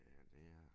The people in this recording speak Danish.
Ja men det er det